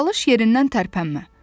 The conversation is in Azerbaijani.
Çalış yerindən tərpənmə.